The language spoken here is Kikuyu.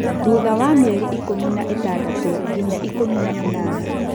Thutha wa mĩeri ikũmi na ĩtandatũ nginya ikũmi na ĩnana.